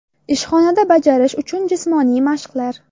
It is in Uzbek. Ishxonada bajarish uchun jismoniy mashqlar .